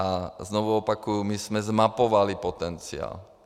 A znovu opakuji, my jsme zmapovali potenciál.